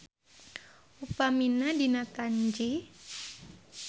Upamina dina Tanji.